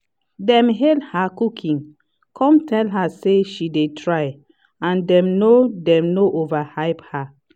dem hail her cooking cum tell her say she dey try and dem no dem no overhype her.